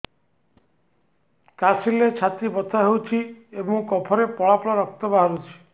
କାଶିଲେ ଛାତି ବଥା ହେଉଛି ଏବଂ କଫରେ ପଳା ପଳା ରକ୍ତ ବାହାରୁଚି